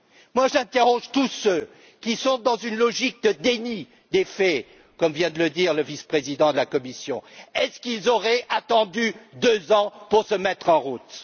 Moi, j'interroge tous ceux qui sont dans une logique de déni des faits, comme vient de le dire le vice président de la Commission est ce qu'ils auraient attendu 2 ans pour se mettre en route?